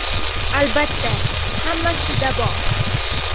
Albatta, hammasida bor.